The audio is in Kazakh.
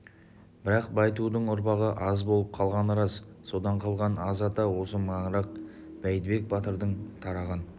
бірақ байтудың ұрпағы аз болып қалғаны рас содан қалған аз ата осы маңырақ бәйдібек батырдан тараған